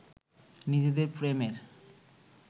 নিজেদের প্রেমের